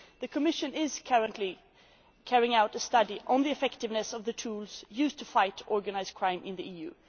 tools. The Commission is currently carrying out a study on the effectiveness of the tools used to fight organised crime in